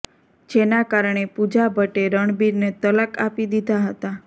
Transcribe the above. જેના કારણે પૂજા ભટ્ટે રણબીરને તલાક આપી દીધા હતા